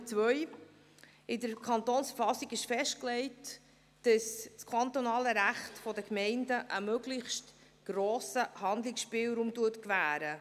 In der Verfassung des Kantons Bern (KV) ist festgelegt, dass das kantonale Recht den Gemeinden einen möglichst grossen Handlungsspielraum gewährt.